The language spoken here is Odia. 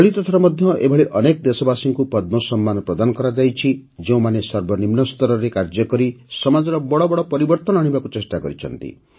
ଚଳିତ ଥର ମଧ୍ୟ ଏଭଳି ଅନେକ ଦେଶବାସୀଙ୍କୁ ପଦ୍ମ ସମ୍ମାନ ପ୍ରଦାନ କରାଯାଇଛି ଯେଉଁମାନେ ସର୍ବନିମ୍ନ ସ୍ତରରେ କାର୍ଯ୍ୟକରି ସମାଜରେ ବଡ଼ ବଡ଼ ପରିବର୍ତନ କରିବାକୁ ଉଦ୍ୟମ କରିଛନ୍ତି